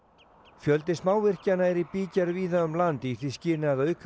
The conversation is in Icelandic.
fjöldi smávirkjana er í bígerð víða um land í því skyni að auka